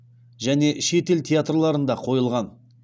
және шетел театрларында қойылған